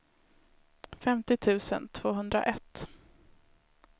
femtio tusen tvåhundraett